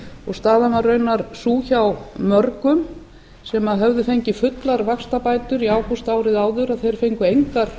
og staðan var raunar sú hjá mörgum sem höfðu fengið fullar vaxtabætur í ágúst árið áður að þeir fengu engar